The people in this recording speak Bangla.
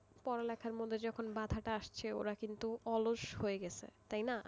পড়া লেখার মধ্যে যখন বাধা টা আসছে ওরা কিন্তু অলস হয়ে গেছে তাই না?